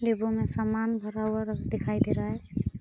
बैगों में सामान भरा हुआ रख दिखाई दे रहा है ।